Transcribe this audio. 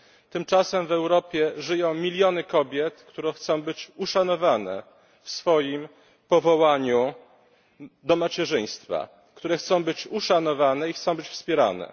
Tymczasem w Europie żyją miliony kobiet, które chcą być uszanowane w swoim powołaniu do macierzyństwa, które chcą być uszanowane i chcą być wspierane.